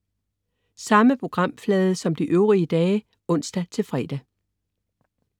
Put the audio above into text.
Samme programflade som de øvrige dage (ons-fre)